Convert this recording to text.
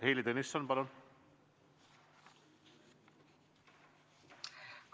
Heili Tõnisson, palun!